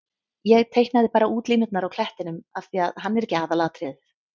Ég teiknaði bara útlínurnar á klettinum af því að hann er ekki aðalatriðið.